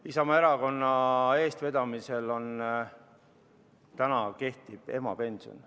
Isamaa erakonna eestvedamisel kehtib praegu emapension.